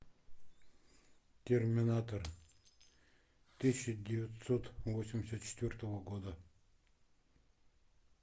терминатор тысяча девятьсот восемьдесят четвертого года